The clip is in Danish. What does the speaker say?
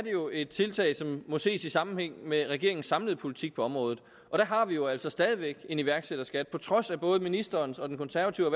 jo et tiltag som må ses i sammenhæng med regeringens samlede politik på området og der har vi jo altså stadig væk en iværksætterskat på trods af både ministerens og den konservative